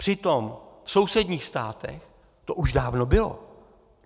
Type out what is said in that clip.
Přitom v sousedních státech to už dávno bylo.